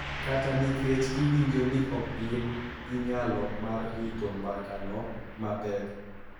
Kata nikech giwinjo ni ok gin gi nyalo mar rito mbakano mapek.